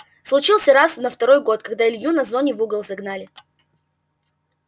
случился раз на второй год когда илью на зоне в угол загнали